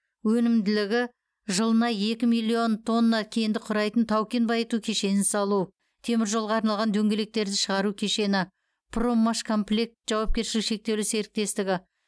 өнімділігі жылына екі миллион тонна кенді құрайтын тау кен байыту кешенін салу теміржолға арналған дөңгелектерді шығару кешені проммашкомплект жауапкершілігі шектеулі серіктестігі